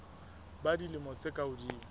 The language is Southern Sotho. ba dilemo tse ka hodimo